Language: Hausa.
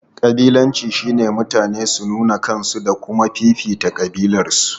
Kabilanci shine mutane su nuna kansu da kuma fifita kabilarsu.